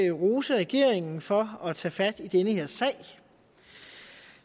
rose regeringen for at tage fat i den her sag